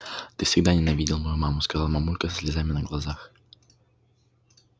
ты всегда ненавидел мою маму сказала мамулька со слезами на глазах